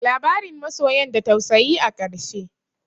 Labarin masoyan da tausayi a ƙarshe.